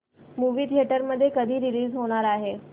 movie theatre मध्ये कधी release होणार आहे